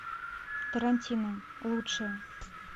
тарантино лучшее